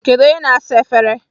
Kedu onye na-asa efere?